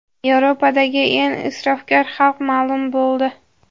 Yevropadagi eng isrofgar xalq ma’lum bo‘ldi.